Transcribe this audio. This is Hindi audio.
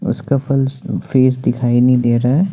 उसका फल्स फेस दिखाई नहीं दे रहा है।